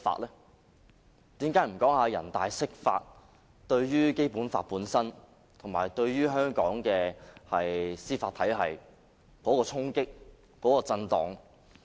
為何不說人大釋法對《基本法》本身和對香港的司法體系的衝擊和震盪？